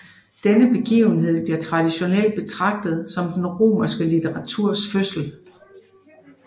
Denne begivenhed bliver traditionelt betragtet som den romerske litteraturs fødsel